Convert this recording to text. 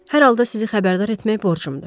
Hər halda sizi xəbərdar etmək borcumdur.